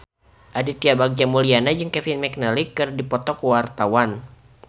Aditya Bagja Mulyana jeung Kevin McNally keur dipoto ku wartawan